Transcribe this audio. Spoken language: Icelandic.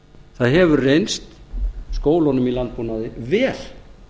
það hefur reynst skólunum í landbúnaði vel